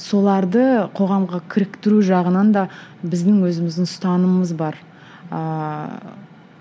соларды қоғамға кіріктіру жағынан да біздің өзіміздің ұстанымыз бар ыыы